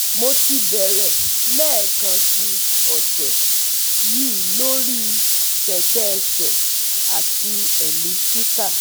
Mo ti bẹ̀rẹ̀ lẹẹkansi ọsẹ yi lori kẹkẹ ẹsẹ ati elliptical